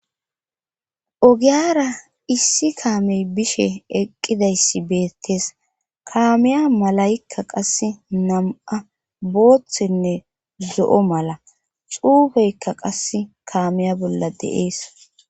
Ogiyara issi kaamey bishe eqqidayssi beettees kaamiya malaykka qasse nam7a booththenne zo7o mala xuufeykka qasse kaamiya bolla deees.